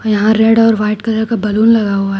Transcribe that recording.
यहां रेड और white colour का बलून लगा हुआ--